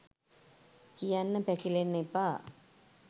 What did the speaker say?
කියන්න පැකිලෙන්න එපා.